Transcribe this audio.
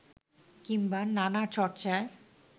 কিংবা নানা চর্চায়